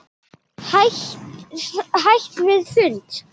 Hætt við fund?